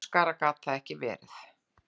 Spánskara gat það ekki verið.